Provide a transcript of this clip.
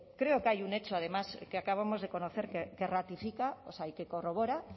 creo que hay un hecho además que acabamos de conocer que corrobora